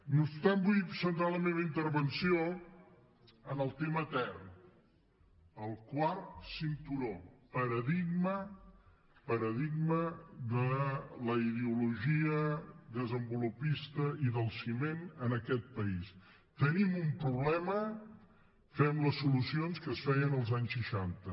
no obstant vull centrar la meva intervenció en el tema etern el quart cinturó paradigma de la ideologia desenvolupista i del ciment en aquest país tenim un problema fem les solucions que es feien als anys seixanta